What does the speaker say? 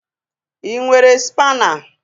Ị nwere spaana?